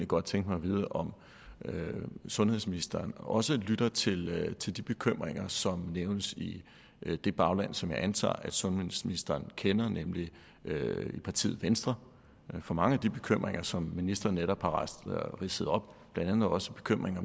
godt tænke mig at vide om sundhedsministeren også lytter til lytter til de bekymringer som nævnes i det bagland som jeg antager at sundhedsministeren kender nemlig i partiet venstre for mange af de bekymringer som ministeren netop har ridset op blandt andet også bekymringen